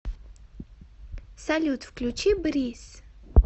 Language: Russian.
салют включи бриз